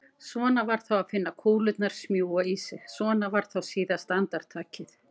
Svona var þá að finna kúlurnar smjúga í sig, svona var þá síðasta andartakið!